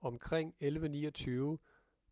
omkring 11:29